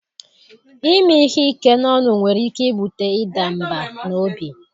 Ime ihe ike n'ọnụ nwere ike ibute ịda mbà n'obi.